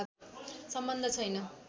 सम्बन्ध छैन